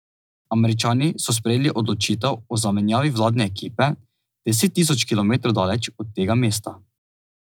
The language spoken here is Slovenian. Američani so sprejeli odločitev o zamenjavi vladne ekipe, deset tisoč kilometrov daleč od tega mesta.